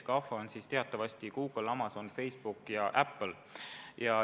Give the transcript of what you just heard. GAFA on teatavasti Google, Amazon, Facebook ja Apple.